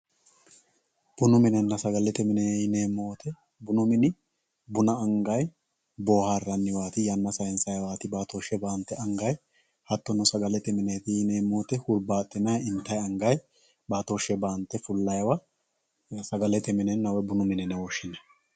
Bunu minenna sagalete mine yineemo woyite bunu mini buna angayi booharaniwati yana sayinsawaati baattoshe baanite angayi hattono sagalette mineti yineemo woyite huribaxxinayi intayi angayi baattoshe baante fulayiwa sagalete minennabwoyi bunu mine yine woshinayi